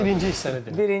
Onda de birinci hissəni de.